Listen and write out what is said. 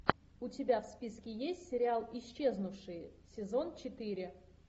у тебя в списке есть сериал исчезнувшие сезон четыре